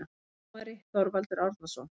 Dómari: Þorvaldur Árnason